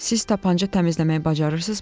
Siz tapança təmizləməyi bacarırsınızmı?